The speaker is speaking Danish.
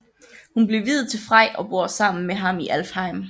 Hun blev viet til Frej og bor sammen med ham i Alfheim